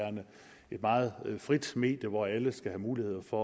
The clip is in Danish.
et meget frit medie hvor alle skal have mulighed for